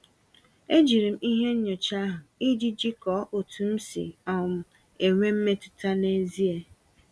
E jiri m ihe nyocha ahụ, iji jikọọ otu m si um enwe mmetụta n'ezie.